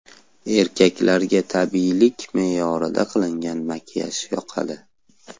Erkaklarga tabiiylik, me’yorida qilingan makiyaj yoqadi.